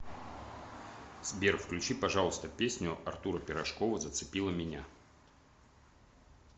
сбер включи пожалуйста песню артура пирожкова зацепила меня